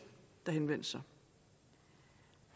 der henvendte sig